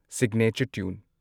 signature tune